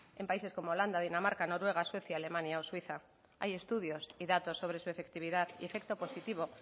en países como holanda dinamarca noruega suecia alemania o suiza hay estudios y datos sobre su efectividad y efecto positivo